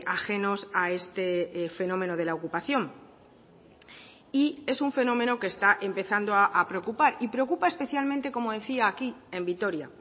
ajenos a este fenómeno de la ocupación y es un fenómeno que está empezando a preocupar y preocupa especialmente como decía aquí en vitoria